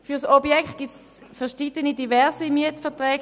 Für das Objekt gibt es diverse Mietverträge.